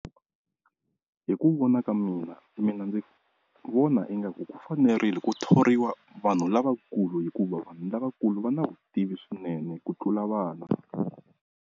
Hi ku vona ka mina mina ndzi vona ingaku ku fanerile ku thoriwa vanhu lavakulu hikuva vanhu lavakulu va na vutivi swinene ku tlula vana.